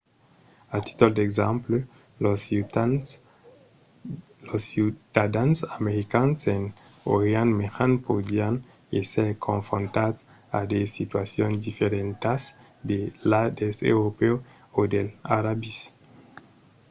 a títol d'exemple los ciutadans americans en orient mejan podrián èsser confrontats a de situacions diferentas de las dels europèus o dels arabis